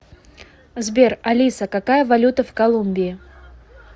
сбер алиса какая валюта в колумбии